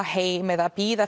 heim eða bíða